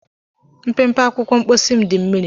Mpempe akwụkwọ mposi m dị mmiri.